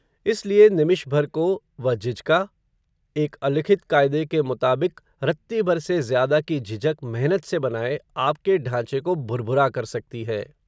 इसलिए निमिष भर को, वह झिझका, एक अलिखित काय़दे के मुताबिक़, रत्ती भर से ज्य़ादा की झिझक मेहनत से बनाए, आपके ढांचे को भुरभुरा कर सकती है